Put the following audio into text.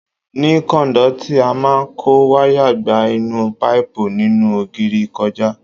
Ní kọ́ndúìtì, a máa kó wayà gba inú páìpù nínú ògiri kọjá.